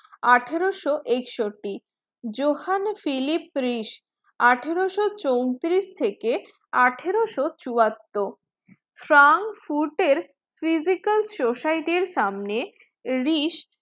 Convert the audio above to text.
আঠারোশো একষট্টি Johann Philipp Reis আঠারোশো চৌত্রিশ থেকে আঠারোশো চুয়াত্তর ফ্রাঙ্ক ফুট physical society সামনে রেইস